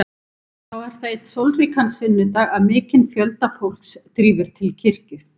Þá er það einn sólríkan sunnudag að mikinn fjölda fólks drífur til kirkju.